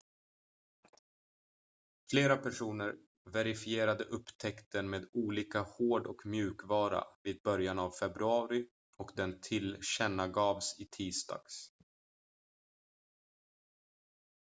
flera personer verifierade upptäckten med olika hård- och mjukvara vid början av februari och den tillkännagavs i tisdags